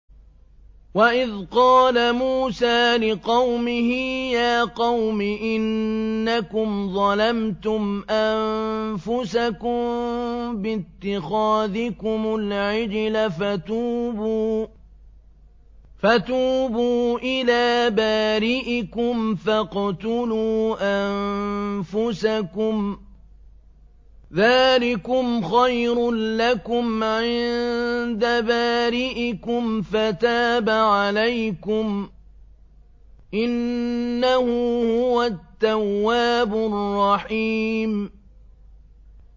وَإِذْ قَالَ مُوسَىٰ لِقَوْمِهِ يَا قَوْمِ إِنَّكُمْ ظَلَمْتُمْ أَنفُسَكُم بِاتِّخَاذِكُمُ الْعِجْلَ فَتُوبُوا إِلَىٰ بَارِئِكُمْ فَاقْتُلُوا أَنفُسَكُمْ ذَٰلِكُمْ خَيْرٌ لَّكُمْ عِندَ بَارِئِكُمْ فَتَابَ عَلَيْكُمْ ۚ إِنَّهُ هُوَ التَّوَّابُ الرَّحِيمُ